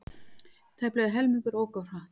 Tæplega helmingur ók of hratt